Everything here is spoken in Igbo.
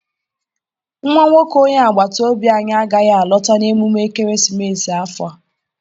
Nwa nwoke onye agbata obi anyị agaghị alọta n'emume ekeresimesi afọ a.